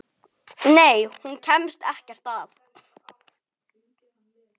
Nei, hún kemst ekkert að.